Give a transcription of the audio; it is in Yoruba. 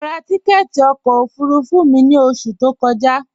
Mọ rá tìkẹtì ọkọ ofurufu mi ni oṣù tó kọja.